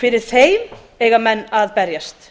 fyrir þeim eiga menn berjast